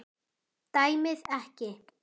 Dæmið ekki.